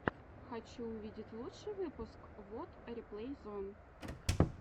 хочу увидеть лучший выпуск вот реплей зон